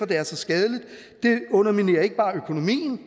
det er så skadeligt det underminerer ikke bare økonomien